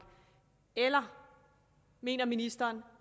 eller mener ministeren